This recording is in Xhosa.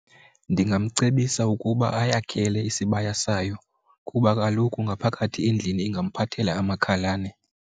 Ndingamcebisa ukuba uyakhela isibaya sayo kuba kaloku ngaphakathi endlini ingamphathela amakhalane.